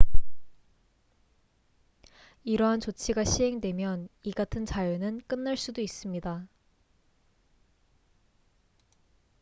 이러한 조치가 시행되면 이 같은 자유는 끝날 수도 있습니다